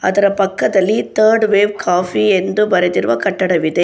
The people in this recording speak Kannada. ಅದರ ಪಕ್ಕದಲ್ಲಿ ಥರ್ಡ್ ವೇವ್ ಕಾಫಿ ಎಂದು ಬರೆದಿರುವ ಕಟ್ಟಡವಿದೆ.